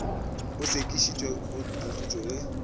o sekišitšwe o ahlotšwe ge